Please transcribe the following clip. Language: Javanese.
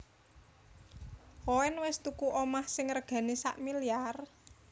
Koen wes tuku omah sing regane sakmiliar?